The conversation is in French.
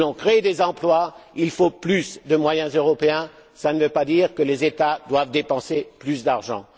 Si nous voulons créer des emplois, il faut plus de moyens européens, ce qui ne veut pas dire que les États doivent dépenser plus d'argent.